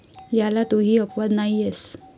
याला तूही अपवाद नाहीयेस.